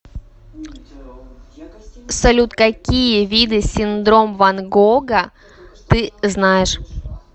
салют какие виды синдром ван гога ты знаешь